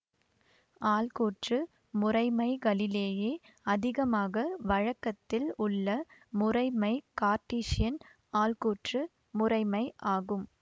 ஆள்கூற்று முறைமைகளிலேயே அதிகமாக வழக்கத்தில் உள்ள முறைமை கார்ட்டீசியன் ஆள்கூற்று முறைமை ஆகும்